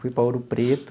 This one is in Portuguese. Fui para Ouro Preto.